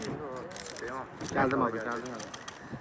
Gəldim abi, gəldim abi.